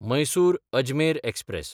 मैसूर–अजमेर express